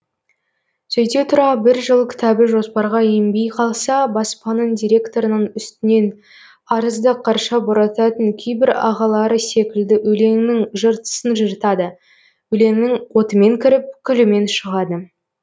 сөйте тұра бір жыл кітабы жоспарға енбей қалса баспаның директорының үстінен арызды қарша борататын кейбір ағалары секілді өлеңнің жыртысын жыртады өлеңнің отымен кіріп күлімен шығады